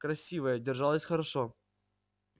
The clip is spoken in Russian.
красивая держалась хорошо